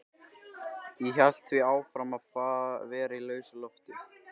Ég hélt því áfram að vera í lausu lofti.